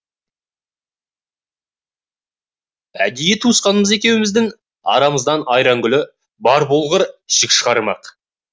әдейі туысқанымыз екеуміздің арамыздан айрангүлі бар болғыр жік шығармақ